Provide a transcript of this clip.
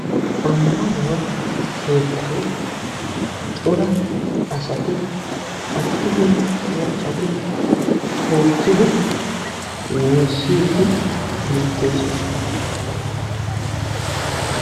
Ammanuwaa keettan cora asati attumanne maccati hookkidi woossiidi beettoosona.